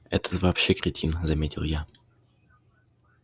этот вообще кретин заметил я